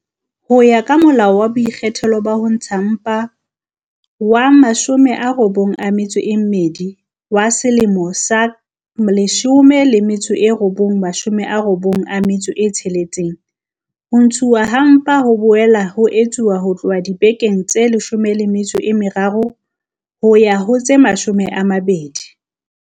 Ho ya ka Molao wa Boikgethelo ba Ho Ntsha Mpa wa 92 wa selemo sa 1996, Molao wa 92 wa 1996, ho ntshuwa ha mpa ho ka boela ha etsuwa ho tloha dibekeng tse 13 ho ya ho tse 20